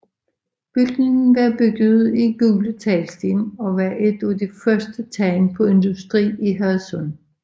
Bygningen var bygget i gule teglsten og var et af de første tegn på industri i Hadsund